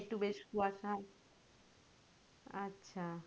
একটু বেশ কুয়াশা আচ্ছা।